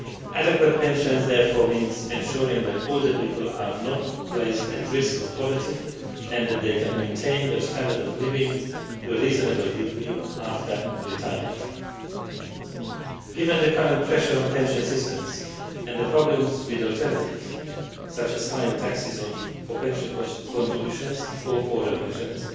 Adequate pensions therefore means ensuring that older people are not placed at risk of poverty and that they can maintain their standard of living to a reasonable degree after retirement. Given the current pressure on pension systems and the problems with alternatives such as higher taxes on pension contributions or poorer pensioners